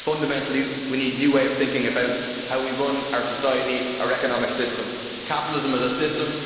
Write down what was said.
Fundamentally, we need a new way of thinking about how we run our society and our economic system. Capitalism is a system.